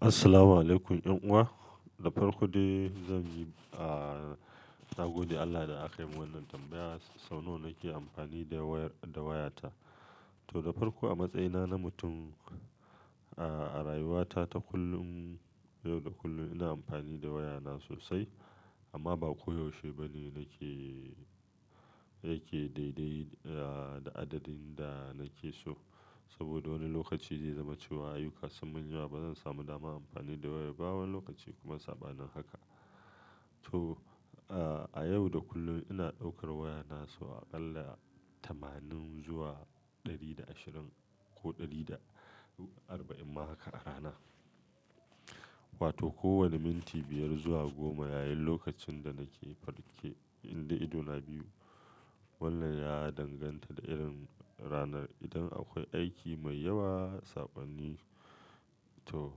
Assalamu alaykum yan uwa. Da farko dai zan yi, aa, na gode Allah da aka yi mun wannan tambaya. Sau nawa nake amfani da wayar, da wayata. To, da farko a matsayina na mutum, a rayuwata ta kullum, yau da kullum ina amfani da wayana sosai amma ba ko yaushe bane nake, yake daidai, aa, da adadin da nake so. Saboda wani lokaci zai zama cewa ayyuka sun mun yawa ba zan samu daman amfani da wayan ba wani lokaci kuma saba nin haka. To, a yau da kullum ina daukar wayana sau aƙalla tamanin zuwa ɗari da ashirin ko ɗari da arba'in ma haka a rana. Wato kowani minti biyar zuwa goma yayin lokacin da nake farke, indai idona biyu. Wannan ya danganta da irin ranar. Idan akwai aiki mai yawa, sakonni, to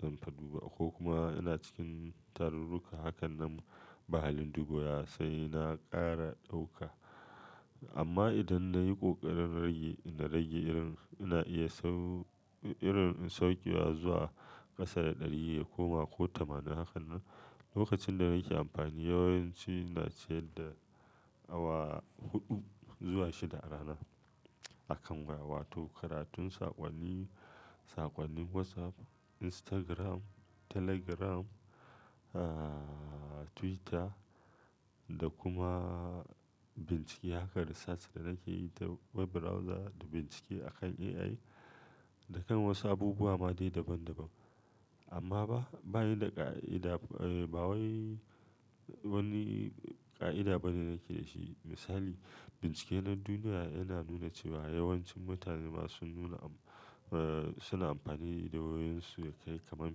zanfa duba ko kuma ina cikin tarurruka. Hakan nan bahalin duba waya sai na ƙara ɗauka. Amma idan na yi ƙoƙarin rage, na rage irin, ina iya sau-- irin saukewa zuwa ƙasa da ɗari ya koma ko tamanin hakan nan, lokacin da nake amfani yawanci na ce da awa huɗu zuwa shida a rana akan waya. Wato karatun, saƙonni, saƙonnin WhatsApp, Instagram, Telegram, aa, Twitter da kuma bincike haka research da nake yi ta web browser da bincike akan AI. Da kan wasu abubuwa ma dai daban daban. Amma ba, bani da ka ida-- ba wai wani ƙa'ida bane nake da shi. Misali, bincike na duniya yana nuna cewa yawancin mutane masu nuna abu suna amfani da wayoyinsu ya kai kaman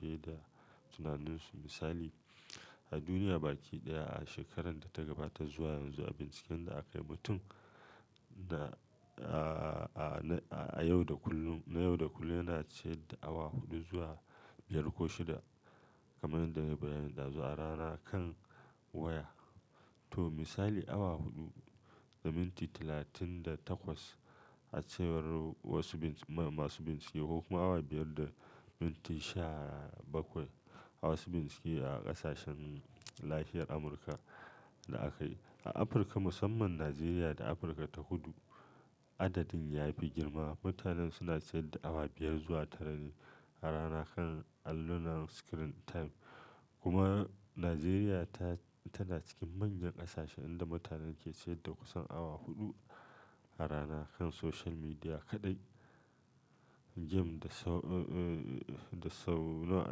fiye da tunaninsu. Misali, a duniya baki ɗaya a shekarar da ta gabata zuwa yanzu a binciken da aka yi, mutum na, aa, a yau da kullum, na yau da kullum yana ciyar da awa huɗu zuwa biyar ko shida kamar yadda nayi bayani dazo a rana kan waya. To misali awa huɗu da minti talatin da takwas a cewar wasu binci-- masu bincike ko kuma awa biyar da minti sha bakwai a wasu bincike a ƙasashen nahiyar Amurka da aka yi. A Afirka musamman Najeriya da Afirka ta kudu adadin ya fi girma. Mutanen suna ciyar da awa biyar zuwa tara ne a rana kan allunan screen time. Kuma Najeriya ta, tana cikin manyan ƙasashe inda mutane ke ciyar da kusan awa huɗu a rana kan social media kaɗai. Gem da sau, aa, da sau nawa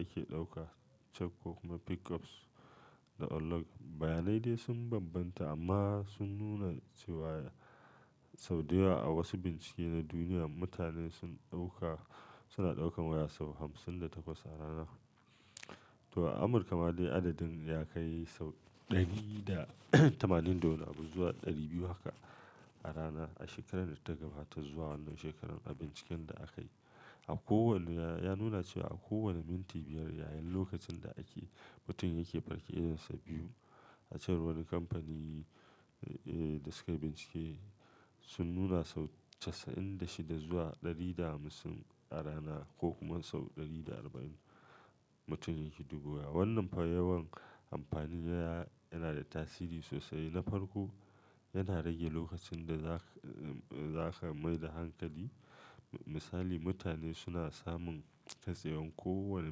ake ɗauka check ko kuma pickups da unlock. Bayanai dai sun bambanta amma sun nuna cewa sau dayawa a wasu bincike na duniya mutane sun ɗauka, suna ɗaukan waya sau hamsin da takwas a rana. To a Amurka ma dai adadin ya kai sau ɗari da tamanin da wani abu zuwa ɗari biyu haka a rana a shekarar da ta gabata zuwa wannan shekarar a binciken da aka yi. A kowane, ya nuna cewa a kowane minti biyar yayin lokacin da ake, mutum yake farke idonsa biyu. A can wani kamfani, ee, da suka yi bincike sun nuna sau casa'in da shida zuwa ɗari da hamsin a rana ko kuma sau ɗari da arba'in mutum yake duba waya. Wannan fa yawan amfani da waya yana da tasiri sosai. Na farko, yana rage lokacin da zaka, aa, zaka mai da hankali. Misali, mutane suna samun kasewan kowani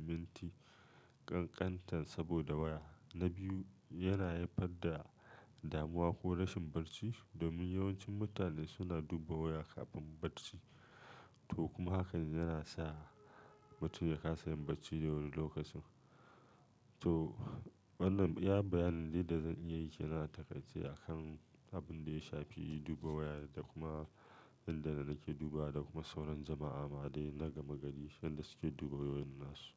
minti ƙanƙantar saboda waya. Na biyu, yana haifar da damuwa ko rashin barci domin yawancin mutane suna duba waya kafin barci. To kuma hakan yana sa mutum ya kasayin barci da wuri lokacin. To wannan iya bayanin dai da zan iya yi. Yana takaice a kan abin da ya shafi duba waya da kuma inda na nake duba da kuma sauran jama'a ma dai na gama gari yanda suke duba wayoyin nasu.